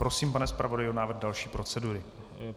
Prosím, pane zpravodaji, o návrh další procedury.